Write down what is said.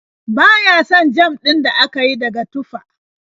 Ba ya son jam din da aka yi daga tufah.